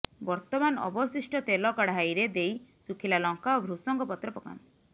ବର୍ତ୍ତମାନ ଅବଶିଷ୍ଟ ତେଲ କଢାଇରେ ଦେଇ ଶୁଖିଲା ଲଙ୍କା ଓ ଭୃଷଙ୍ଗ ପତ୍ର ପକାନ୍ତୁ